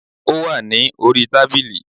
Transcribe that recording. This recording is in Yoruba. Ó wà ní orí i tábìlì